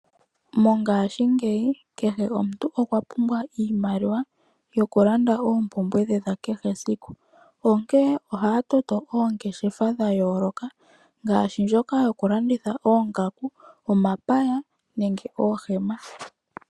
Mongashingeyi kehe omuntu okwa pumbwa iimaliwa yokulanda oompumbwe dhe dhakehe esiku, onkene ohaya toto oongeshefa dha yooloka ngaashi ndjoka dhokulanditha oongaku , omapaya nenge oohema.